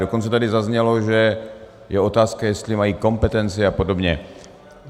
Dokonce tady zaznělo, že je otázka, jestli mají kompetenci a podobně.